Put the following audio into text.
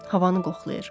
Havanı qoxlayır.